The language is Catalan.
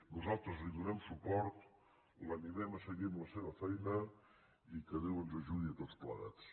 nosaltres li donem suport l’animem a seguir amb la seva feina i que déu ens ajudi a tots plegats